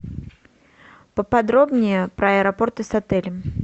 поподробнее про аэропорты с отелем